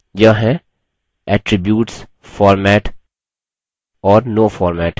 यह हैं attributes format और no format